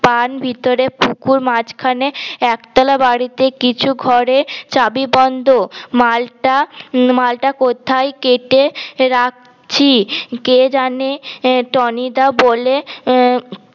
পান ভিতরে পুকুর মাঝখানে একতালা বারিতে কিছু ঘরে চাবি বন্ধ মালটা মালটা কোথাই কেটে রাকছি কে যানে টনি দা বলে